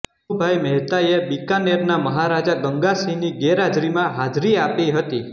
મનુભાઇ મહેતાએ બિકાનેરના મહારાજા ગંગા સિંહની ગેરહાજરીમાં હાજરી આપી હતી